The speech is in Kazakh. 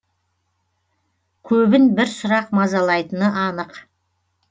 көбін бір сұрақ мазалайтыны анық